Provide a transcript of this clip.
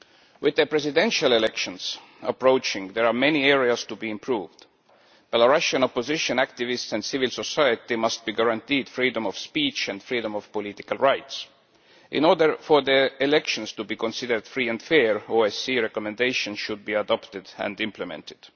With the presidential elections approaching, there remain many areas that need to be improved. Belarusian opposition activists and civil society must be guaranteed freedom of speech and freedom of political rights. In order for the elections to be considered free and fair, the OSCE recommendation should be adopted and implemented.